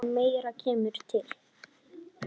En meira kemur til.